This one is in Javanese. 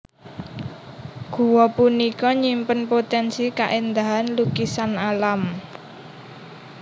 Gua punika nyimpen potensi kaéndahan lukisan alam